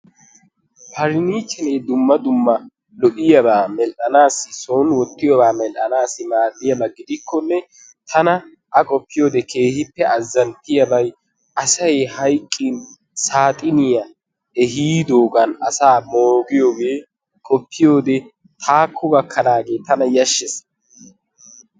Pariniichcheree dumma dumma lo'iyaba medhanaassi maadiyaba gidikkonne tana a qoppiyode keehippe azzantiyabay asay hayqqin saaxiniya ehiidoogan asaa moogiyogee qoppiyode taakko gakkanahani tana yaashees.